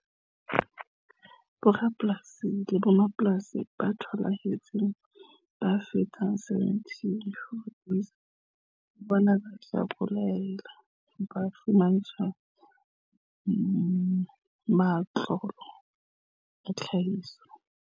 Borapolasi le mmapolasi ba thuthuhang ba fetang 74 000 le bona ba tla boela ba fumantshwa matlole a tlhahiso.